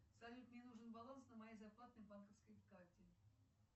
салют мне нужен баланс на моей зарплатной банковской карте